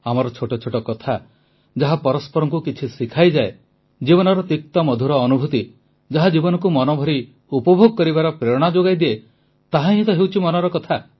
ଆମର ଛୋଟ ଛୋଟ କଥା ଯାହା ପରସ୍ପରଙ୍କୁ କିଛି ଶିଖାଇଯାଏ ଜୀବନର ତିକ୍ତମଧୁର ଅନୁଭୂତି ଯାହା ଜୀବନକୁ ମନଭରି ଉପଭୋଗ କରିବାର ପ୍ରେରଣା ଯୋଗାଇଦିଏ ତାହା ହିଁ ତ ହେଉଛି ମନର କଥା